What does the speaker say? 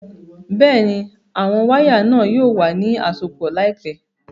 Bẹ́ẹ̀ni, àwọn wàya náà yóò wà ni àsọpọ̀ laípẹ̀